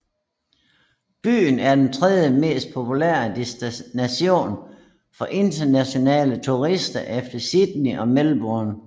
Byen er den tredjemest populære destination for internationale turister efter Sydney og Melbourne